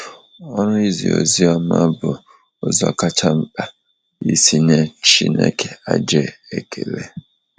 Ọrụ izi oziọma bụ ụzọ kacha mkpa isi nye Chineke aja ekele.